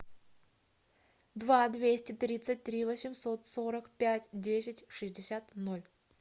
два двести тридцать три восемьсот сорок пять десять шестьдесят ноль